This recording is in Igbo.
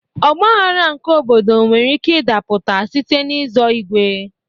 Ọgbaghara nke obodo nwere ike idapụta site n'i zọ igwe.